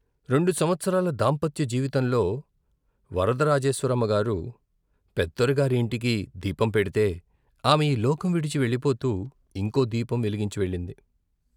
రెండు సంవత్సరాల దాంపత్య జీవితంలో వరదరాజేశ్వరమ్మగారు పెద్దొర గారి ఇంటికి దీపం పెడితే, ఆమె ఈ లోకం విడిచి వెళ్ళిపోతూ ఇంకో దీపం వెలిగించి వెళ్ళింది.